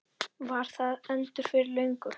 Var það endur fyrir löngu?